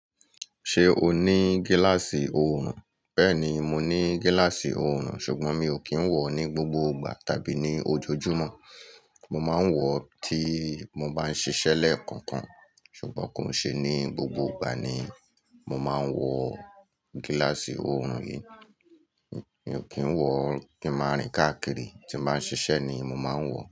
Ṣé o ní gíláàsì oòrùn? Bẹ́ẹ̀ni, mo ní gíláàsì oòrùn ṣùgbọ́n mi ò kí ń wọ̀ ọ́ ní gbogbo ìgbà tàbí ní ojoojúmọ́. Mo máa ń wọ̀ ọ́ tí mo bá ń ṣiṣẹ́ lẹ́ẹ̀ kọ̀ọ̀kan ṣùgbọ́n kò ún ṣe ní gbogbo ìgbà ni mo máa ń wọ gíláàsì oòrùn yìí. Mi ò kí ń wọ̀ ọ́ kí ń máa rìn káàkiri, tí n bá ń ṣiṣẹ́ ni mo máa ń wọ̀ ọ́